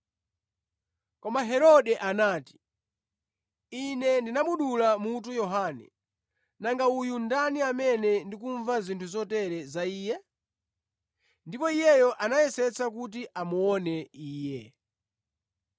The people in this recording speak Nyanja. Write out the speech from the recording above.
Koma Herode anati, “Ine ndinamudula mutu Yohane. Nanga uyu ndani amene ndikumva zinthu zotere za Iye?” Ndipo iye anayesetsa kuti amuone Iye.